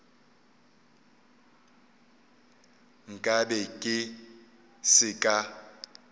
nka be ke se ka